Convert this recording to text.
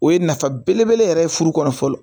O ye nafa belebele yɛrɛ ye furu kɔnɔ fɔlɔ